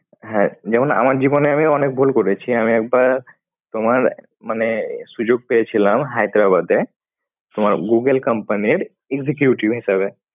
হ্যাঁ যেমন আমার জীবনে আমি অনেক ভুল করেছি, তোমার মানে সুযোগ পেয়েছিলাম হায়দ্রাবাদে তোমার googlecompany র executive হিসাবে।